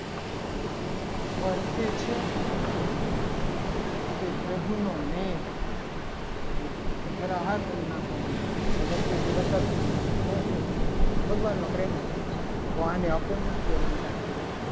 વર્ષે છે. તે પ્રભુનો મેહ તથા હા પણ તમે ના પાડી દીધી વર્ષે વરસાદ નથી. વરસતો તો શું વરસે છે. ભગવાનનો પ્રેમ વર્ષે છે. તો આને અપવ્રુતિ અલંકાર કહેવાય.